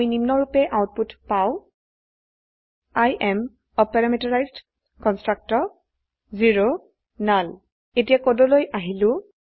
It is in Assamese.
আমি নিম্নৰুপে আউটপুট পাই I am a parameterised constructor null এতিয়া কোডলৈ আহিলো